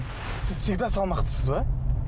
сіз всегда салмақтысыз ба